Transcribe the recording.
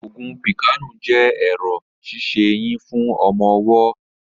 Ògùn píkàànù jẹ́ ẹ̀rọ̀ ṣíṣe eyín fún ọmọ ọwọ́